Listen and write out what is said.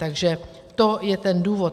Takže to je ten důvod.